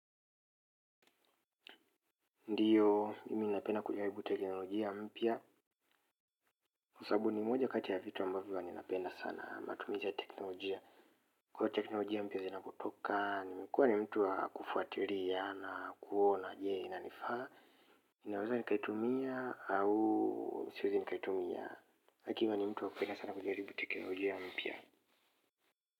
Ndiyo, mimi napenda kujaribu teknolojia mpya. Kwa sababu ni moja kati ya vitu ambavyo huwa ninapenda sana matumizi ya teknolojia, kwa teknolojia mpya zinapotoka, nimekuwa ni mtu wa kufuatilia na kuona je, inanifaa? Ninaweza nikaitumia au siwezi nikaitumia mtu napenda sana kujaribu teknolojia mpya.